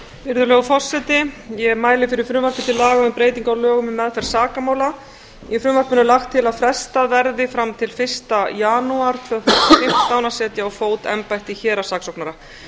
virðulegur forseti ég mæli fyrir frumvarpi til laga um breytingu á lögum um meðferð sakamála í frumvarpinu er lagt til að frestað verði fram til fyrsta janúar tvö þúsund og fimmtán að setja á fót embætti héraðssaksóknara